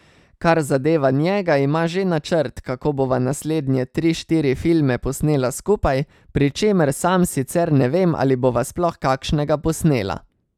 Kar zadeva njega, ima že načrt, kako bova naslednje tri, štiri filme posnela skupaj, pri čemer sam sicer ne vem, ali bova sploh kakšnega posnela.